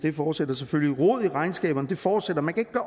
fortsætter selvfølgelig og rodet i regnskaberne fortsætter man kan